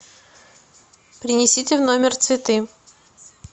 принесите в номер цветы